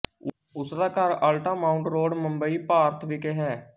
ਉਸਦਾ ਘਰ Altamount Road Mumbai Bharat ਵਿਖੇ ਹੈ